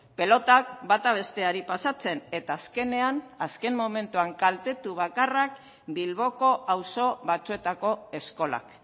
pilotak bata besteari pasatzen eta azkenean azken momentuan kaltetu bakarrak bilboko auzo batzuetako eskolak